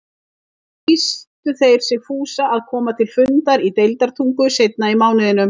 Þá lýstu þeir sig fúsa að koma til fundar í Deildartungu seinna í mánuðinum.